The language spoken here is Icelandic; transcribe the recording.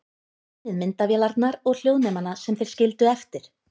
Finnið myndavélarnar og hljóðnemana sem þeir skildu eftir.